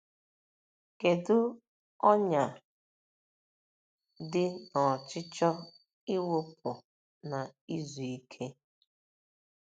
Kedu ọnyà dị n'ọchịchọ ịwụpụ na izuike?